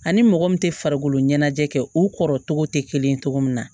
Ani mɔgɔ min tɛ farikolo ɲɛnajɛ kɛ o kɔrɔ tɔgɔ tɛ kelen ye cogo min na